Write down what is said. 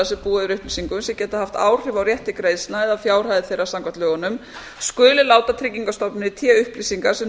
sem búa yfir upplýsingum sem geta haft áhrif á rétt til greiðslna eða fjárhæðir þeirra samkvæmt lögunum skuli láta tryggingastofnun í té upplýsingar sem